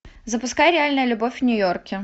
запускай реальная любовь в нью йорке